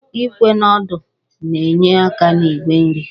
Íkwè na ọ́dụ́ na-enye aka n'ígwè nri